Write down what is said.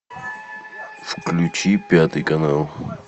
включи пятый канал